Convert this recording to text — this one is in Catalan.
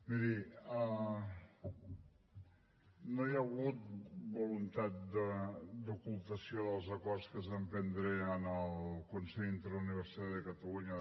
miri no hi ha hagut voluntat d’ocultació dels acords que es van prendre en el consell interuniversitari de catalunya